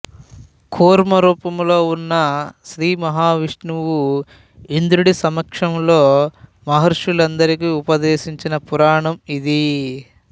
కూర్మరూపంలో ఉన్న శ్రీ మహావిష్ణువు ఇంద్రుడి సమక్షంలో మహర్షులందరికీ ఉపదేశించిన పురాణం ఇది